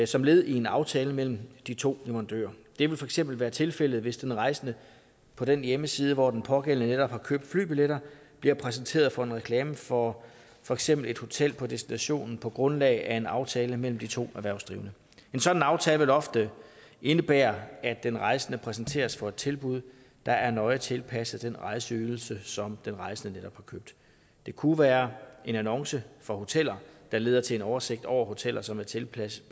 som led i en aftale mellem de to leverandører det vil for eksempel være tilfældet hvis en rejsende på den hjemmeside hvor den pågældende netop har købt flybilletter bliver præsenteret for en reklame for for eksempel et hotel på destinationen på grundlag af en aftale mellem de to erhvervsdrivende en sådan aftale vil ofte indebære at den rejsende præsenteres for et tilbud der er nøje tilpasset den rejseydelse som den rejsende netop har købt det kunne være en annonce for hoteller der leder til en oversigt over hoteller som er tilpasset